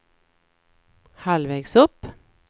halvvägs upp